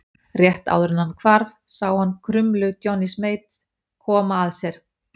Rétt áður en hann hvarf sá hann krumlu Johnnys Mate koma að sér.